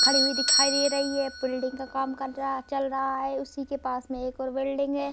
खड़ी हुई दिखाई दे रही है बिल्डिंग का काम चल रहा है उसी के पास में एक और बिल्डिंग है।